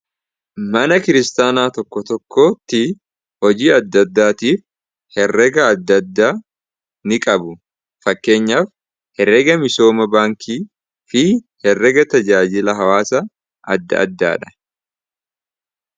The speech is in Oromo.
Mana kiristaanaa tokko tokkotti hojii adda addaatiif herreega adda addaa niqabu. Fakkeenyaaf herreega misooma baankiifi herreega tajaajila hawaasa adda addaadha.